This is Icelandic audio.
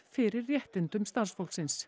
fyrir réttindum starfsfólksins